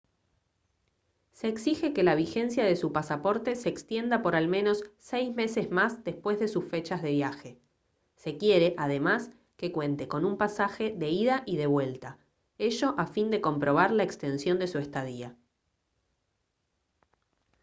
se exige que la vigencia de su pasaporte se extienda por al menos 6 meses más después de sus fechas de viaje se quiere además que cuente con un pasaje de ida y de vuelta ello a fin de comprobar la extensión de su estadía